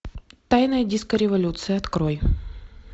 тайная диско революция открой